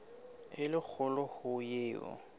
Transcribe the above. e le kgolo ho eo